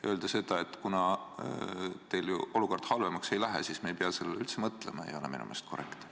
Öelda, et kuna teil ju olukord halvemaks ei lähe, siis me ei pea sellele üldse mõtlema, ei ole minu meelest korrektne.